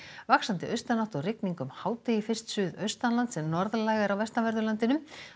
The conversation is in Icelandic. vaxandi austanátt og rigning um hádegi fyrst suðaustanlands en norðlægari á vestanverðu landinu